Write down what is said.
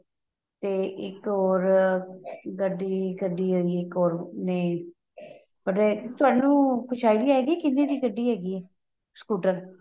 ਤੇ ਇੱਕ ਹੋਰ ਗੱਡੀ ਕੱਢੀ ਹੈਗੀ ਏ ਇੱਕ ਹੋਰ ਨੇ ਤੁਹਾਨੂੰ ਕੁੱਛ idea ਹੈਗਾ ਕੀ ਕਿੰਨੇ ਦੀ ਗੱਡੀ ਹੈਗੀ ਏ scooter